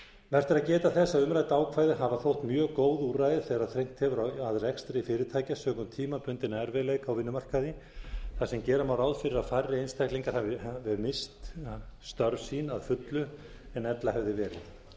vert er að geta þess að umrædd ákvæði hafa þótt mjög góð úrræði þegar þrengt hefur að rekstri fyrirtækja sökum tímabundinna erfiðleika á vinnumarkaði þar sem gera má ráða fyrir að færri einstaklingar hafi misst störf sín að fullu en ella hefði verið